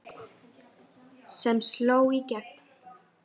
sem sló í gegn.